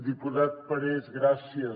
diputat parés gràcies